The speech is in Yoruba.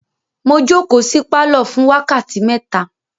Mo jókòó sí pálọ̀ fún wákàtí mẹ́ta.